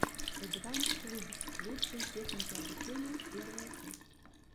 эдванс клуб лучшие техники обучения первая часть